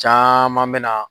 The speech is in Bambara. Caman bɛ na